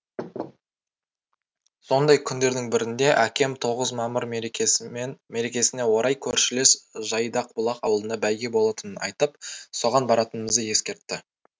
сондай күндердің бірінде әкем тоғыз мамыр мерекесіне орай көршілес жайдақбұлақ ауылында бәйге болатынын айтып соған баратынымызды ескертті